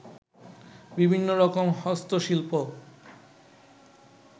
বিভিন্ন রকম হস্ত শিল্প